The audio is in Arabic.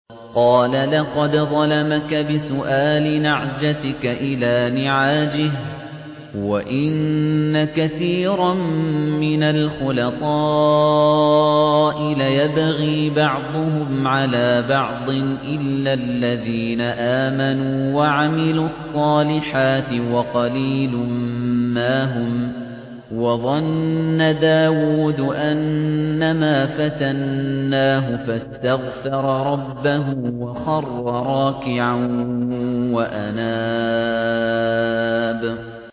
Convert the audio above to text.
قَالَ لَقَدْ ظَلَمَكَ بِسُؤَالِ نَعْجَتِكَ إِلَىٰ نِعَاجِهِ ۖ وَإِنَّ كَثِيرًا مِّنَ الْخُلَطَاءِ لَيَبْغِي بَعْضُهُمْ عَلَىٰ بَعْضٍ إِلَّا الَّذِينَ آمَنُوا وَعَمِلُوا الصَّالِحَاتِ وَقَلِيلٌ مَّا هُمْ ۗ وَظَنَّ دَاوُودُ أَنَّمَا فَتَنَّاهُ فَاسْتَغْفَرَ رَبَّهُ وَخَرَّ رَاكِعًا وَأَنَابَ ۩